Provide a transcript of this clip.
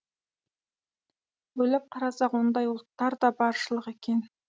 ойлап қарасақ ондай ұлттар да баршылық екен